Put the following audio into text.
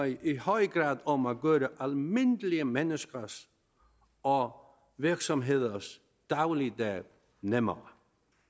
i høj grad om at gøre almindelige menneskers og virksomheders dagligdag nemmere